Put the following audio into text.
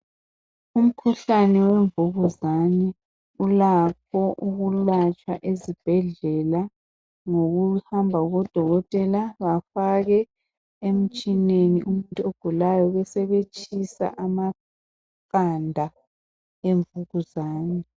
Umkhuhlane wemvukuzane ulakho ukwelatshwa ezibhedlela, ngokuhamba kubodokotela bafake emtshineni umuntu ogulayo besebetshisa amaqanda emvukuzane.